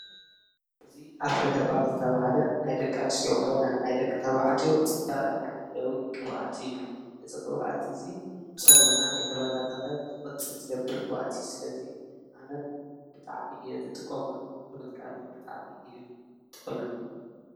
አዚ ኣፍሮ ሄርባል ዝተባሃለ ናይ ደቂ ኣንስትዮ ኮነ ናይ ደቂ ተባዕትዮ ፅባቐ መሐለዊ ቅብኣት እዩ፡፡ እዚ ቅብኣት እዚ ፀጉርና ከይተበታተኸ ንኽቕፅል ዝገብር ቅብኣት እዩ፡፡ ስለዚ ኣነም ብጣዕሚ እየ ዝጥቀመሉ ብምጥቃመይ ብጣዕሚ እዩ ጠቒሙኒ፡፡